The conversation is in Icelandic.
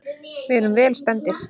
Við erum vel stemmdir.